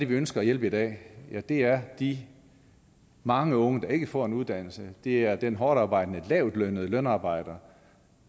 vi ønsker at hjælpe i dag og det er de mange unge der ikke får en uddannelse det er den hårdtarbejdende lavtlønnede lønarbejder